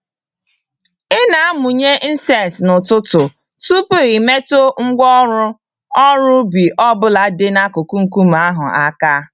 Ị na-amụnye incense n'ụtụtụ tupu i metụ ngwá ọrụ ọrụ ubi ọ bụla dị n'akụkụ nkume ahụ àkà